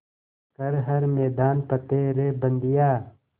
कर हर मैदान फ़तेह रे बंदेया